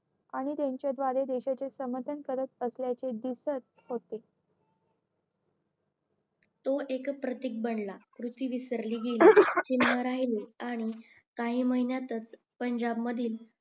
आणि त्यांच्याद्वारे देशाच्या समाधान करत असल्याचे दिसत होते तो एक प्रतिक बनलं कृती विसरली गेली चिन्ह राहिले आणि काही महिन्यातच पंजाब मधील